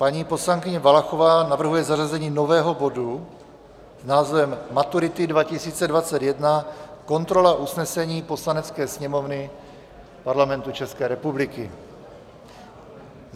Paní poslankyně Valachová navrhuje zařazení nového bodu s názvem Maturity 2021 - kontrola usnesení Poslanecké sněmovny Parlamentu České republiky.